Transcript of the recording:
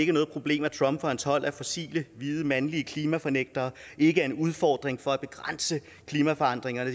er noget problem at trump og hans hold af fossile hvide mandlige klimafornægtere ikke er en udfordring for at begrænse klimaforandringerne